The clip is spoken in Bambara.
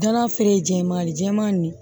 Dala feere jɛman jɛman nin